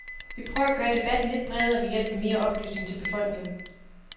Vi prøver at gøre debatten lidt bredere ved hjælp af mere oplysning til befolkningen.